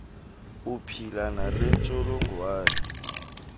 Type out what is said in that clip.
uphila nale ntsholongwane